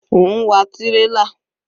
Ó ń wa tírélà.